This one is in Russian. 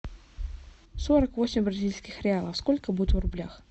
сорок восемь бразильских реалов сколько будет в рублях